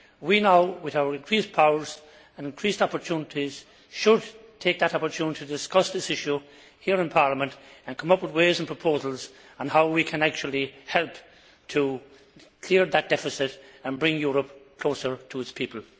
We now, with our increased powers and increased opportunities, should take that opportunity to discuss this issue here in Parliament and come up with ways and proposals on how we can actually help to clear that deficit and bring Europe closer to its people.